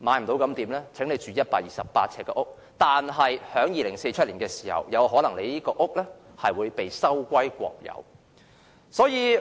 資金不足的可以買128平方呎的房屋，但在2047年有可能會被收歸國有。